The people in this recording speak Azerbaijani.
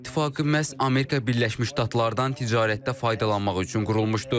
Avropa İttifaqı məhz Amerika Birləşmiş Ştatlardan ticarətdə faydalanmaq üçün qurulmuşdu.